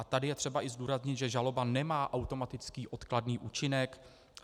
A tady je třeba i zdůraznit, že žaloba nemá automatický odkladný účinek.